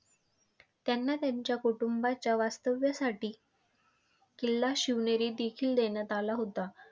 त्यांना त्यांच्या कुटुंबाच्या वास्तव्यासाठी किल्ला शिवनेरी देखील देण्यात आला होता.